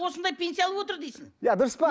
осындай пенсия алып отыр дейсің иә дұрыс па